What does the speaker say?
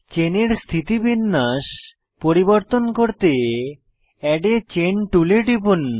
চেনের স্থিতিবিন্যাস পরিবর্তন করতে এড a চেইন টুলে টিপুন